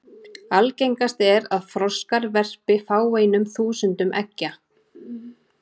Algengast er að froskar verpi fáeinum þúsundum eggja.